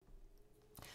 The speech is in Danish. TV 2